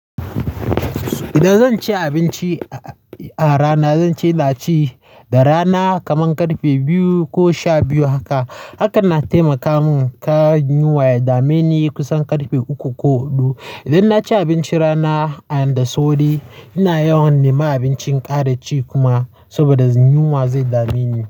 Idan zan ci abinci a rana, zan ci naci da rana kaman karfe biyu ko sha biyu haka. Haka na taimaka mun kar yunwa ya dameni kusan karfe uku ko huɗu. Idan na ci abinci rana da sauri, ina yawan nema abincin ƙara ci kuma saboda yunwan ze dameni.